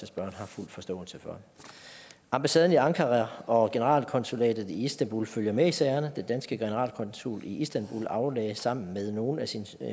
spørgeren har fuld forståelse for ambassaden i ankara og generalkonsulatet i istanbul følger med i sagerne den danske generalkonsul i istanbul aflagde sammen med nogle af sine